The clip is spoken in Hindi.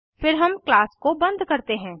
फिर हम क्लास को बंद करते हैं